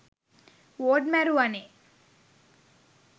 ward මැරුවනේ